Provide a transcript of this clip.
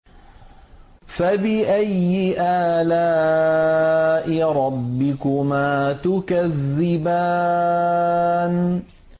فَبِأَيِّ آلَاءِ رَبِّكُمَا تُكَذِّبَانِ